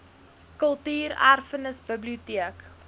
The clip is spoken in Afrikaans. kultuur erfenis biblioteek